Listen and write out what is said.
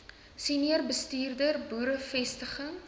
senior bestuurder boerevestiging